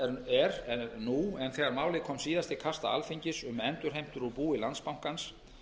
er nú en þegar málið kom síðast til kasta alþingis um endurheimtur úr búi landsbankans